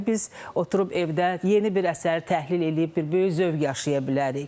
Yəni biz oturub evdə yeni bir əsəri təhlil eləyib bir böyük zövq yaşaya bilərik.